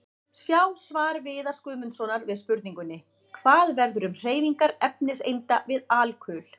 Sjá svar Viðars Guðmundssonar við spurningunni: Hvað verður um hreyfingar efniseinda við alkul?